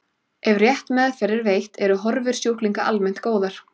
Ef rétt meðferð er veitt eru horfur sjúklinga almennt góðar.